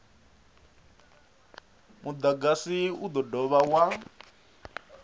mudagasi u do dovha wa